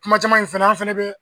Kuma caman in fɛnɛ, an fɛnɛ be